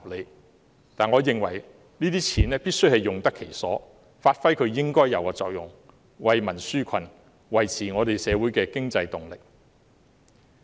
但是，我認為這些錢必須用得其所，發揮應有的作用，為民紓困，維持社會的經濟動力。